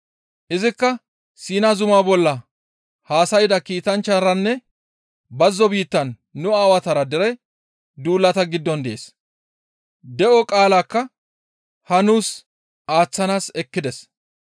Izikka Siina zuma bolla haasayda kiitanchcharanne bazzo biittan nu aawatara dere duulata giddon dees; de7o qaalakka haa nuus aaththanaas ekkides.